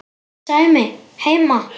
Sæmi heima!